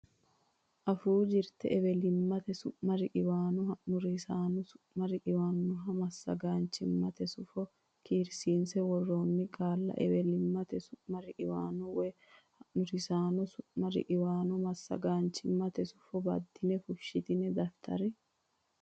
Afuu Jirte Ewelimmate Su mi riqiwaano Ha nurisaano Su mi riqiwaanonna Massagaanchimmate Sufo karsiinse worroonni qaalla ewelimmate su mi riqiwaano woy ha nurisaano su mi riqiwaano massagaanchimmate sufo baddine fushshitine daftari.